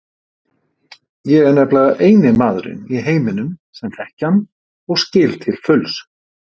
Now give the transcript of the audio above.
Ég er nefnilega eini maðurinn í heiminum sem þekki hann og skil til fulls.